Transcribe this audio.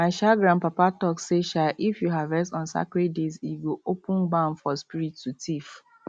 my um grandpapa talk say um if you harvest on sacred days e go open barn for spirit to thief